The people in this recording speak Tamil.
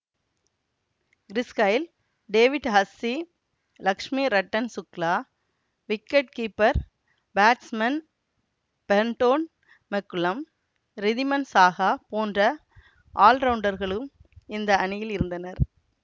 Girish Gayle David Hussey Lakshmi Ratan Shukla wicket keeper batsmen Brendon McCullum Riddhiman Saha போன்ற ஆல்ரவுண்டர்களும் இந்த அணியில் இருந்தனர்